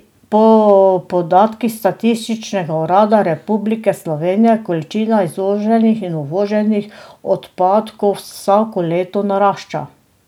Po podatkih Statističnega urada Republike Slovenije količina izvoženih in uvoženih odpadkov vsako leto narašča.